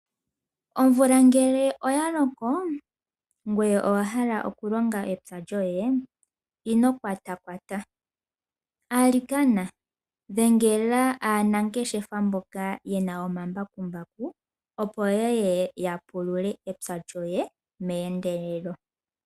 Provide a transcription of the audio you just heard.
Omvula ngele oya loko, ngoye owa hala okulonga epya lyoye, ino kwatakwata. Alikana dhengela aanangeshefa mboka ye na omambakumbaku opo yeye ya pulule epya lyoye meendelelo.